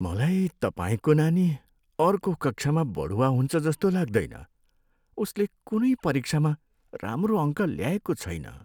मलाई तपाईँको नानी अर्को कक्षामा बढुवा हुन्छ जस्तो लाग्दैन। उसले कुनै परीक्षामा राम्रो अङ्क ल्याएको छैन।